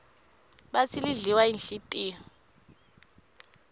batsi lidliwa yinhlitiyo